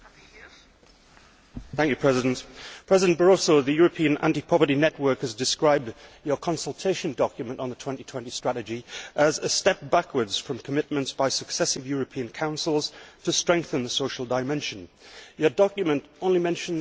President Barroso, the European Anti Poverty Network has described your consultation document on the 2020 Strategy as a step backwards from commitments by successive European Councils to strengthen the social dimension. Your document only mentions flexicurity and training.